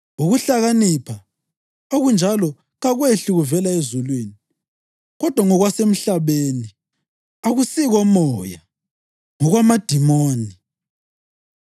“Ukuhlakanipha” okunjalo kakwehli kuvela ezulwini, kodwa ngokwasemhlabeni, akusikomoya, ngokwamadimoni.